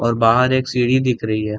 और बाहर एक सीढ़ी दिख रही है।